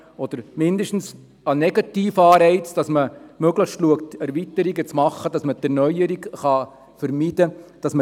Zumindest sollte ein Negativanreiz geschaffen werden, indem nach Möglichkeit Erweiterungen gemacht werden und Erneuerung vermieden werden.